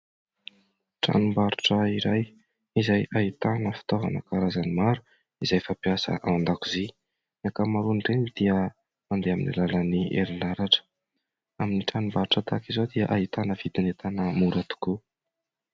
Tranombarotra iray izay ahitana fitaovana karazany maro izay fampiasa ao an-dakozia. Ny ankamaroan'ireny dia mandeha amin'ny alalan'ny herinaratra. Amin'ny tranombarotra tahaka izao dia ahitana vidin'entana mora tokoa.